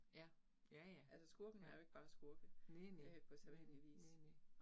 Ja, ja ja, ja, næ næ, næ næ, næ næ